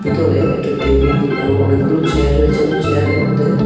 ভিতরে একটা টেবিল এবং অনেকগুলো চেয়ার রয়েছে এবং চেয়ারের মধ্যে।